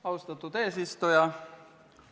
Austatud eesistuja!